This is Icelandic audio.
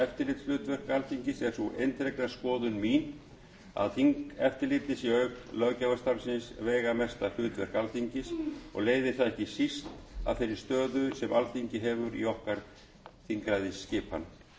eftirlitshlutverk alþingis er sú eindregna skoðun mín að þingeftirlitið sé auk löggjafarstarfsins veigamesta hlutverk alþingis og leiðir það ekki síst af þeirri stöðu sem alþingi hefur í okkar þingræðisskipan